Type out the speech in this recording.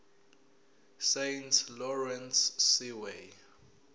saint lawrence seaway